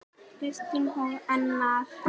Kristín og Einar.